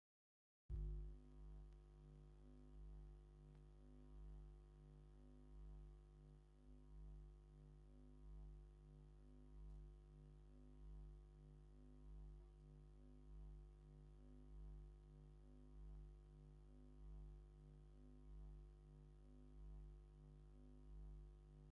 ኣብ ከተማ መቐለ ካብ ዝርከቡ ናይ ዕዳጋ ቦታታት እቲ ሓደ ድፍኦ ተባሂሉ ዝፅዋዕ ናይ ዕዳጋ ቦታ እዩ። እዚ ናይ ዕዳጋ ቦታ ብዘበን ካልኣይ ወራር ጣልያን ካብ ብነፈርቲ ዝተደብደቡ ቦታታት እቲ ሓደ ምኻኑ ትጠፍሉ ዶ?